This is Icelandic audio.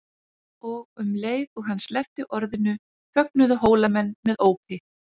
Og um leið og hann sleppti orðinu fögnuðu Hólamenn með ópi.